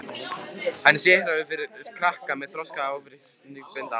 Hann er sérhæfður fyrir krakka með þroskafrávik, benti hann á.